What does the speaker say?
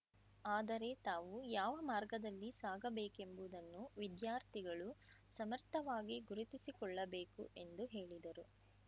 ಆದರೆ ತಾವು ಯಾವ ಮಾರ್ಗದಲ್ಲಿ ಸಾಗಬೇಕೆಂಬುದನ್ನು ವಿದ್ಯಾರ್ಥಿಗಳು ಸಮರ್ಥವಾಗಿ ಗುರುತಿಸಿಕೊಳ್ಳಬೇಕು ಎಂದು ಹೇಳಿದರು